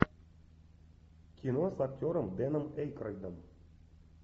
кино с актером дэном эйкройдом